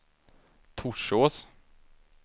Torsås